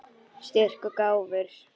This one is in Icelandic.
Styrk og gáfur.